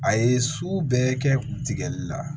A ye sugu bɛɛ kɛ tigɛli la